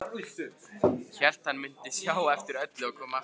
Hélt hann mundi sjá eftir öllu og koma aftur.